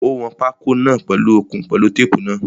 Ó wọn pákó náà pèlu okùn pẹ̀lú tape náà.